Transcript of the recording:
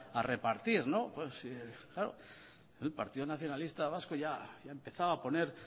a repartir el partido nacionalista vasco ya ha empezado a poner